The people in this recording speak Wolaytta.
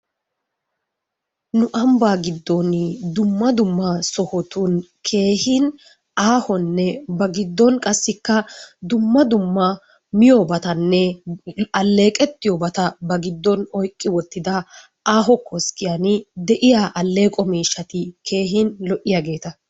Nu ambbaa giddon dumma dumma sohotun keehin aahonne ba giddon qassikka dumma dumma miyobatanne alleeqettiyobata bantta giddon oyikki wottida aaho koskkiyan de'iya alleqo miishshati lo'iyageeta.